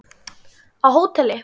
Á hóteli?